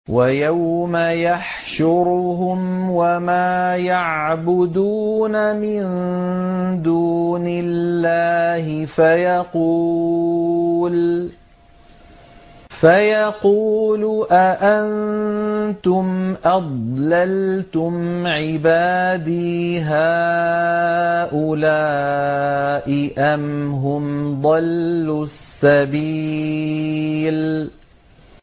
وَيَوْمَ يَحْشُرُهُمْ وَمَا يَعْبُدُونَ مِن دُونِ اللَّهِ فَيَقُولُ أَأَنتُمْ أَضْلَلْتُمْ عِبَادِي هَٰؤُلَاءِ أَمْ هُمْ ضَلُّوا السَّبِيلَ